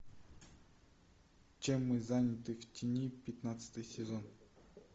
чем мы заняты в тени пятнадцатый сезон